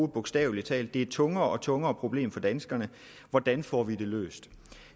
bogstavelig talt et tungere og tungere problem for danskerne hvordan får vi det løst